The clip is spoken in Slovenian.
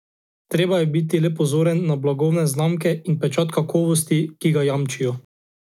Treba je biti le pozoren na blagovne znamke in na pečat kakovosti, ki ga jamčijo.